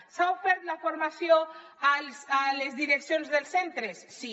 s’ha ofert la formació a les direccions dels centres sí